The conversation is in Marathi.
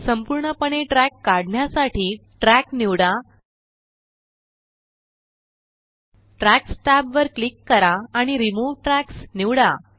संपूर्णपणे ट्रॅक काढण्यासाठी ट्रॅक निवडा ट्रॅक्स टॅब वर क्लिक करा आणि रिमूव्ह ट्रॅक्स निवडा